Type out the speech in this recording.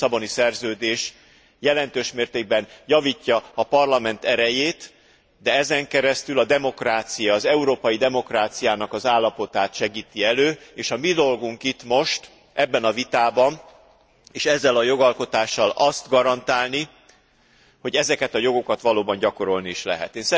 A Lisszaboni Szerződés jelentős mértékben javítja a Parlament erejét, de ezen keresztül a demokrácia, az európai demokráciának állapotát segíti elő és a mi dolgunk itt, most, ebben a vitában és ezzel a jogalkotással azt garantálni, hogy ezeket a jogokat valóban gyakorolni is lehet.